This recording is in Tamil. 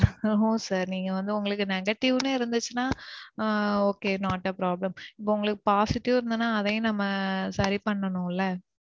no sir. நீங்க வந்து உங்களுக்கு negative னு இருந்துச்சுன்னா okay. Not a problem. இப்போ உங்களுக்கு positive னு இருந்தா அதையும் நம்ம சரி பண்ணணும்ல?